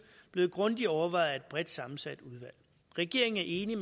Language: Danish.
blevet grundigt overvejet af et bredt sammensat udvalg regeringen er enig